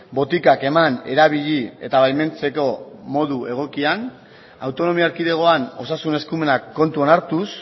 botikak eman erabili eta baimentzeko modu egokian autonomia erkidegoan osasun eskumenak kontuan hartuz